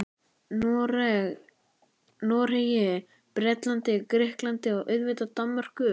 Noregi, Bretlandi, Grikklandi og auðvitað Danmörku.